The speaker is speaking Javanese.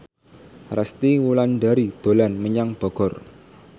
Resty Wulandari dolan menyang Bogor